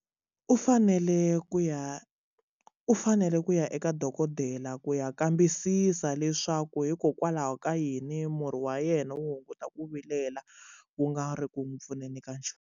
U fanele ku ya u fanele ku ya eka dokodela ku ya kambisisa leswaku hikokwalaho ka yini murhi wa yena wu hunguta ku vilela wu nga ri ku n'wi pfuneni ka xona.